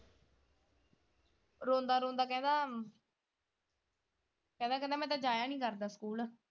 ਰੋਂਦਾ ਰੋਂਦਾ ਕਹਿੰਦਾ ਕਹਿੰਦਾ ਕਹਿੰਦਾ ਮੈਂ ਤਾਂ ਜਾਇਆ ਹੀ ਨਹੀਂ ਕਰਦਾ ਸਕੂਲ।